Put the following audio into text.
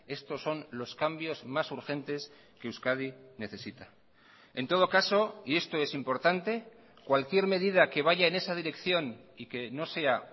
estos son los cambios más urgentes que euskadi necesita en todo caso y esto es importante cualquier medida que vaya en esa dirección y que no sea